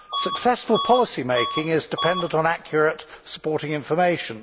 Successful policymaking is dependent on accurate supporting information.